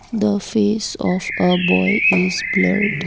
the face of a boy is blurred.